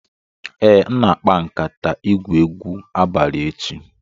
Ee, m na-akpa nkatay igwu egwu abalị echi.